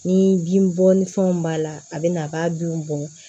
Ni bin bɔ ni fɛnw b'a la a bɛ na a b'a bin bɔn